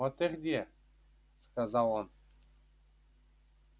вот ты где сказал он